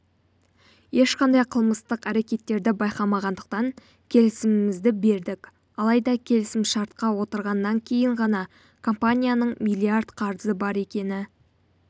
ешқандай қылмыстық әрекеттерді байқамағандықтан келісімімізді бердік алайда келісімшартқа отырғаннан кейін ғана компанияның миллиард қарызы бар екені